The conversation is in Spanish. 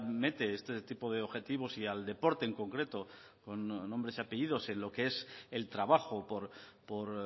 mete este tipo de objetivos y al deporte en concreto con nombres y apellidos en lo que es el trabajo por